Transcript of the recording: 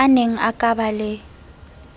aneng a ka ba le